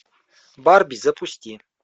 барби запусти